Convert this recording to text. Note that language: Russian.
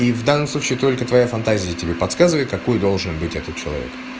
и в данном случае только твоя фантазия тебе подсказывает какой должен быть этот человек